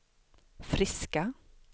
friska